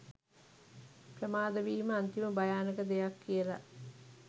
ප්‍රමාද වීම අන්තිම භයානක දෙයක් කියල.